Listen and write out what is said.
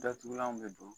Datugulanw bɛ don